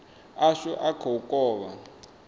ashu a kha u kovha